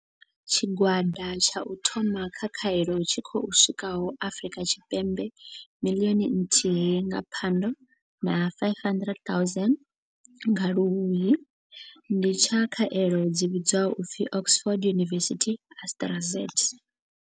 Tshigwada tsha u thoma tsha khaelo tshi khou swikaho Afrika Tshipembe miḽioni nthihi nga Phando na 500 000 nga Luhuhi ndi tsha khaelo dzi vhidzwaho u pfi Oxford University-Astraz.